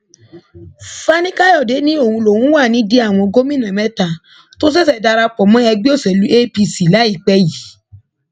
fanikàyọdé ní òun lòún wà nídìí àwọn gómìnà mẹta tó ṣẹṣẹ darapọ mọ ẹgbẹ òṣèlú apc láìpẹ yìí